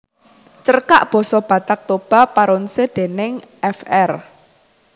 Cerkak basa Batak Toba Paronse déning Fr